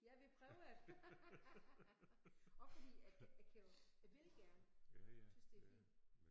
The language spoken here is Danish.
Ja vi prøver det også fordi jeg jeg kan jo jeg vil gerne tys det er fint